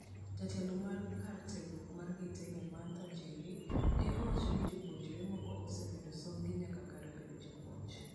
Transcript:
Jatelo mar kar tiegruok ma Gaitega Martha Njeri ne owacho ni jopuonjre moko osemedo somb gi nyaka kar bedo jopuonj.